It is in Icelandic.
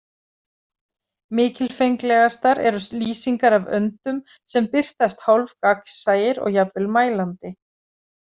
Mikilfenglegastar eru lýsingar af öndum sem birtast hálfgagnsæir og jafnvel mælandi.